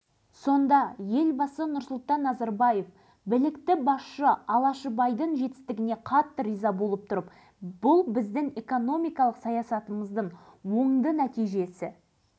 көрсетілсе екен деген тілектерін айтып жатты әрі алғашқы қарлығашы деп баға берген